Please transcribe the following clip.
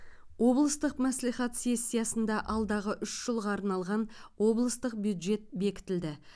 облыстық мәслихат сессиясында алдағы үш жылға арналған облыстық бюджет бекітілді